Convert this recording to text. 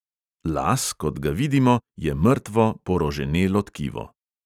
Las, kot ga vidimo, je mrtvo, poroženelo tkivo.